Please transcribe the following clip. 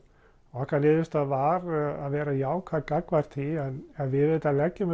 okkar niðurstaða var að vera jákvæð gagnvart því en við auðvitað leggjum